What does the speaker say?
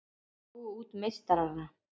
Slógu út meistarana